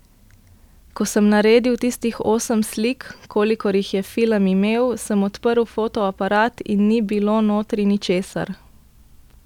Ko sem naredil tistih osem slik, kolikor jih je film imel, sem odprl fotoaparat in ni bilo notri ničesar.